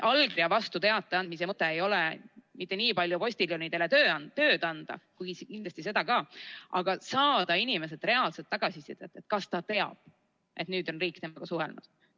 Allkirja vastu teate andmise mõte ei ole mitte niipalju see, et postiljonidele tööd anda, kuigi kindlasti seda ka, vaid see, et saada inimeselt reaalset tagasisidet, kas ta teab, et nüüd on riik temaga suhelnud.